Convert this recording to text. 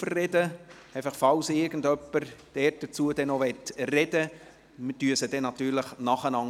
Für den Fall, dass noch jemand zu diesen Traktanden sprechen möchte: Wir behandeln sie natürlich nacheinander.